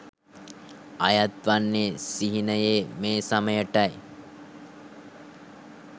අයත් වන්නේ සිහිනයේ මේ සමයටයි.